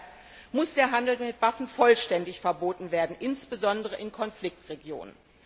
Deshalb muss der Handel mit Waffen vollständig verboten werden, insbesondere in Konfliktregionen.